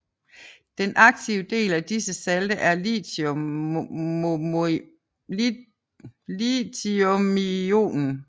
Den aktive del af disse salte er lithiumionen